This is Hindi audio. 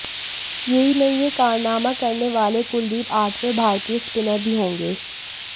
यही नहीं यह कारनामा करने वाले कुलदीप आठवें भारतीय स्पिनर भी होंगे